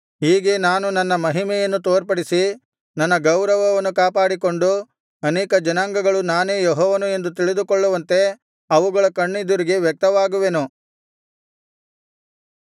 ಹೀಗೆ ನಾನು ನನ್ನ ಮಹಿಮೆಯನ್ನು ತೋರ್ಪಡಿಸಿ ನನ್ನ ಗೌರವವನ್ನು ಕಾಪಾಡಿಕೊಂಡು ಅನೇಕ ಜನಾಂಗಗಳು ನಾನೇ ಯೆಹೋವನು ಎಂದು ತಿಳಿದುಕೊಳ್ಳುವಂತೆ ಅವುಗಳ ಕಣ್ಣೆದುರಿಗೆ ವ್ಯಕ್ತವಾಗುವೆನು